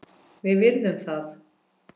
Við virðum það.